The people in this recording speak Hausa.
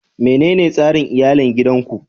Menene tsarin iyalin gidan ku?